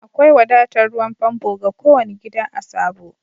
Akwai wadatan ruwan pompo ga ko wani gida a'Sabo.